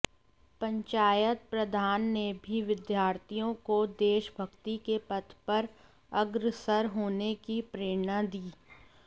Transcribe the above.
पंचायत प्रधान ने भी विद्यार्थियों को देशभक्ति के पथ पर अग्रसर होने की प्रेरणा दी